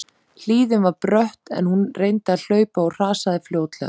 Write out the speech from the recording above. Hlíðin var brött en hún reyndi að hlaupa og hrasaði fljótlega.